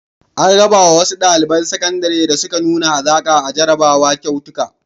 An raba wa wasu ɗaliban sakandare da suka nuna hazaƙa a jarrabawa kyautuka.